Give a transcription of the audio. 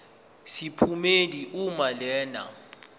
sephomedi uma lena